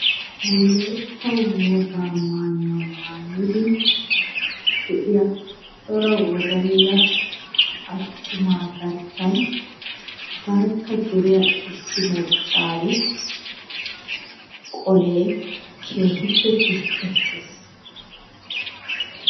Wolayitta wogaa mayuwa maayidi de'iya cora wodalla attumaa garssan barkka duriya issi maccaari qole keehippe piskkettes.